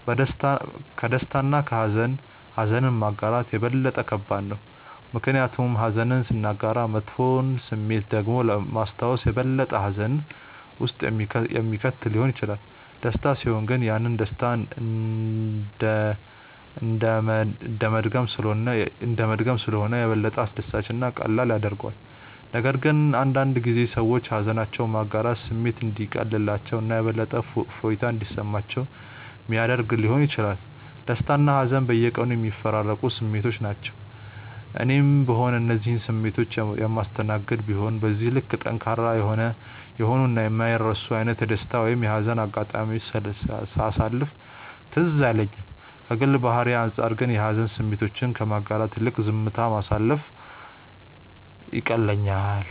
ከደስታ እና ከሃዘን ኀዘንን ማጋራት የበለጠ ከባድ ነው። ምክንያቱም ኀዘንን ስናጋራ መጥፎውን ስሜት ደግሞ ማስታወስ የበለጠ ሀዘን ውስጥ የሚከት ሊሆን ይችላል። ደስታ ሲሆን ግን ያንን ደስታ እንደመድገም ስለሆነ የበለጠ አስደሳች እና ቀላል ያደርገዋል፤ ነገር ግን አንዳንድ ጊዜ ሰዎች ሃዘናቸውን ማጋራት ስሜቱ እንዲቀልላቸው እና የበለጠ እፎይታ እንዲሰማቸው ሚያደረግ ሊሆን ይችላል። ደስታና ሀዘን በየቀኑ የሚፈራረቁ ስሜቶች ናቸው። እኔም ብሆን እነዚህን ስሜቶች የማስተናገድ ቢሆንም በዚህ ልክ ጠንካራ የሆኑ እና የማይረሱ አይነት የደስታ ወይም የሀዘን አጋጣሚዎችን ሳሳለፍ ትዝ አይለኝም። ከግል ባህሪዬ አንጻር ግን የሀዘን ስሜቶችን ከማጋራት ይልቅ ዝምታ ማሳለፍ ይቀለኛል።